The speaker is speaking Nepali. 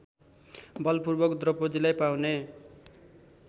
बलपूर्वक द्रौपदीलाई पाउने